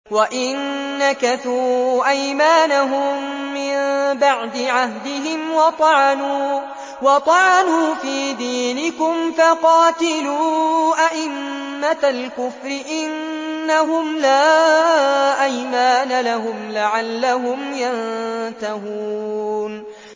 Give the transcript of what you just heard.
وَإِن نَّكَثُوا أَيْمَانَهُم مِّن بَعْدِ عَهْدِهِمْ وَطَعَنُوا فِي دِينِكُمْ فَقَاتِلُوا أَئِمَّةَ الْكُفْرِ ۙ إِنَّهُمْ لَا أَيْمَانَ لَهُمْ لَعَلَّهُمْ يَنتَهُونَ